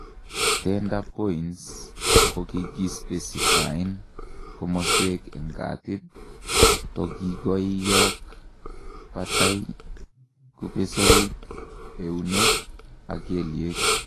tender points kokikispecifien komoswek en katit, togikoiok, batai, kupesoik, eunek ak keliek